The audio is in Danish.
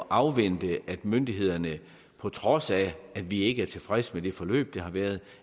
afvente at myndighederne på trods af at vi ikke er tilfredse med det forløb der har været